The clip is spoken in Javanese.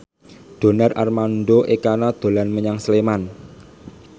Donar Armando Ekana dolan menyang Sleman